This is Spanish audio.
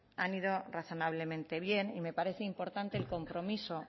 han ido razonablemente bien y me parece importante el compromiso